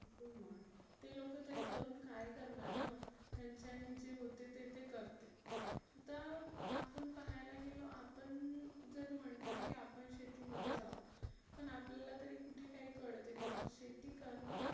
ते लोक तरी करुन काय करनार ना. त्याच्यानी जे जे होते ते करते. आता आपण पहायला गेलो आपण जर म्हटलं की आपण शेती मध्ये जाऊ पण आपल्याला तरी कुठे काय कळते ना शेती करणे ही